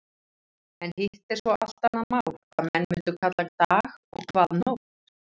En hitt er svo allt annað mál hvað menn mundu kalla dag og hvað nótt.